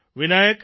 Vinayak